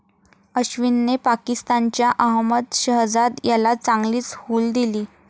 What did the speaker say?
अश्विनने पाकिस्तानच्या अहमद शहजाद याला चांगलीच हूल दिली.